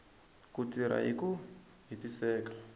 ku tirha hi ku hetiseka